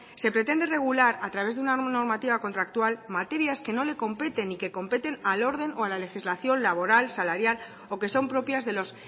se pretende regular a través de una normativa contractual materias que no le competen y que competen al orden o a la legislación laboral salarial o que son propias de los